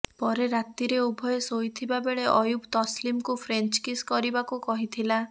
ପରେ ରାତିରେ ଉଭୟେ ଶୋଇଥିବା ବେଳେ ଅୟୁବ୍ ତସ୍ଲିମକୁ ଫ୍ରେଞ୍ଚ୍ କିସ୍ କରିବାକୁ କହିଥିଲା